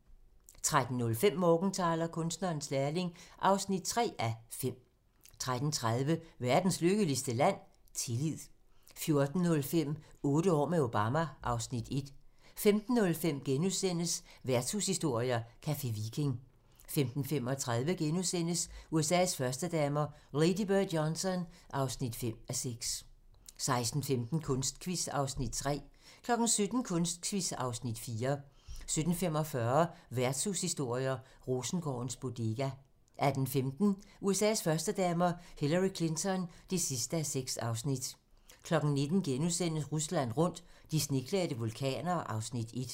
13:05: Morgenthaler: Kunstnerens lærling (3:5) 13:30: Verdens lykkeligste land? -tillid 14:05: Otte år med Obama (Afs. 1) 15:05: Værtshushistorier: Café Viking * 15:35: USA's førstedamer - Lady Bird Johnson (5:6)* 16:15: Kunstquiz (Afs. 3) 17:00: Kunstquiz (Afs. 4) 17:45: Værtshushistorier: Rosengårdens Bodega 18:15: USA's førstedamer - Hillary Clinton (6:6) 19:00: Rusland rundt - de sneklædte vulkaner (Afs. 1)*